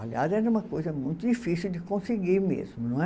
Aliás, era uma coisa muito difícil de conseguir mesmo, não é?